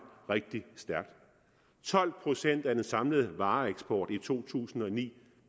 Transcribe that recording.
rigtig stærkt tolv procent af den samlede vareeksport i to tusind og ni